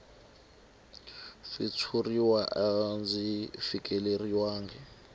swa switshuriwa a byi fikeleriwangi